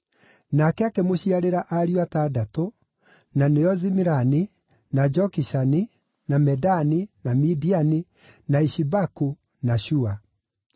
Nake akĩmũciarĩra ariũ atandatũ, na nĩo Zimirani, na Jokishani, na Medani, na Midiani, na Ishibaku na Shua.